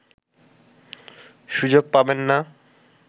সুযোগ পাবেন না